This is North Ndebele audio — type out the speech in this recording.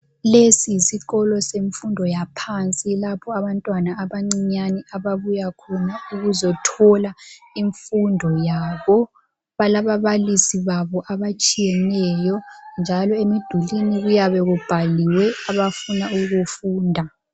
Lesi yisikolo semfundo yaphansi lapho abantwana abancinyane ababuya khona ukuzothola imfundo yabo. Balababalisi babo abatshiyeneyo njalo emidulini kuyabe kubhaliwe abafuna ukukufunda.